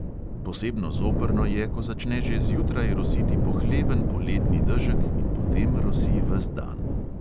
Posebno zoprno je, ko začne že zjutraj rositi pohleven poletni dežek in potem rosi ves dan.